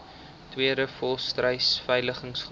tweede volstruisveiling groot